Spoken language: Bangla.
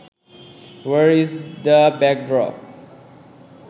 war is the backdrop